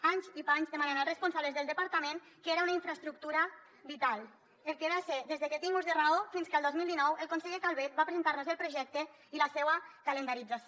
anys i panys demanant als responsables del departament que era una infraestructura vital el que va ser des de que tinc ús de raó fins que el dos mil dinou el conseller calvet va presentar nos el projecte i la seua calendarització